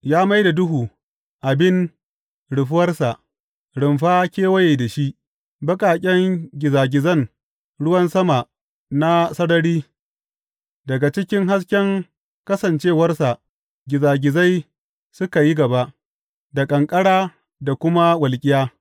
Ya mai da duhu abin rufuwarsa, rumfa kewaye da shi, baƙaƙen gizagizan ruwan sama na sarari, daga cikin hasken kasancewarsa gizagizai suka yi gaba, da ƙanƙara da kuma walƙiya.